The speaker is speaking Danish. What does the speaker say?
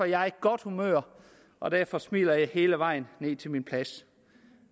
jeg i godt humør og derfor smiler jeg hele vejen ned til min plads